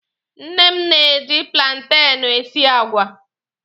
Nne m na-eji plantenụ esi àgwà.